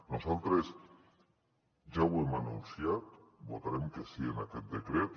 nosaltres ja ho hem anunciat votarem que sí en aquest decret